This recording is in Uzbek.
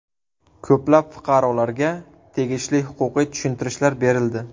Ko‘plab fuqarolarga tegishli huquqiy tushuntirishlar berildi.